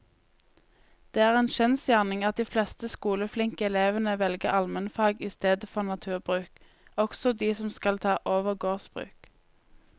Det er en kjensgjerning at de fleste skoleflinke elevene velger allmennfag i stedet for naturbruk, også de som skal ta over gårdsbruk.